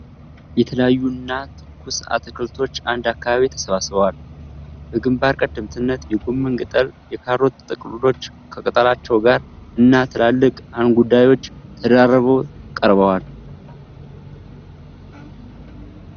የተለያዩ እና ትኩስ አትክልቶች አንድ አካባቢ ተሰባስበዋል። በግንባር ቀደምትነት የጎመን ቅጠል፣ የካሮት ጥቅሎች ከቅጠላቸው ጋር እና ትላልቅ እንጉዳዮች ተደራርበው ቀርበዋል።